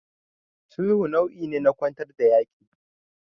Sulhu nau'i ne na kwantar da yaƙi.